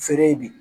Feere ye bi